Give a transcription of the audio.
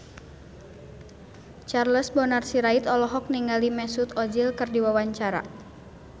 Charles Bonar Sirait olohok ningali Mesut Ozil keur diwawancara